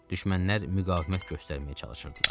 Düşmənlər müqavimət göstərməyə çalışırdılar.